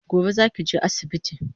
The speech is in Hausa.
Gobe zaki je asibiti?